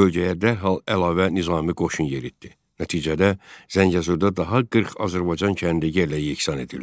bölgəyə dərhal əlavə nizami qoşun yeritdi, nəticədə Zəngəzurda daha 40 Azərbaycan kəndi yerlə yeksan edildi.